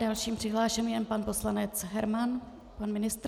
Dalším přihlášeným je pan poslanec Herman, pan ministr.